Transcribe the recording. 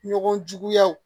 Ɲɔgɔn juguya